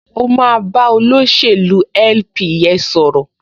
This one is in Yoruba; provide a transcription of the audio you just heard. O máa bá olóṣèlú LP yẹn sọ̀rọ̀